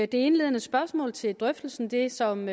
det indledende spørgsmål til drøftelsen det som